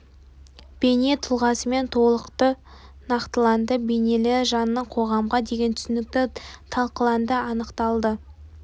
бейне тұлғасымен толықты нақтыланды бейнелі жанның қоғамға деген түсінігі талқыланды анықталды